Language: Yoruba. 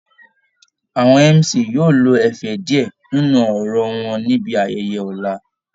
Àwọn MC yóò lo ẹ̀fẹ̀ díẹ̀ nínú ọ̀rọ̀ wọn níbi ayẹyẹ ọ̀la